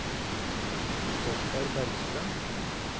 Oskar Bergstrøm